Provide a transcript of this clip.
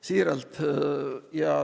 Siiralt.